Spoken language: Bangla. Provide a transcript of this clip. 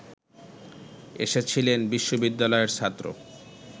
এসেছিলেন বিশ্ববিদ্যালয়ের ছাত্র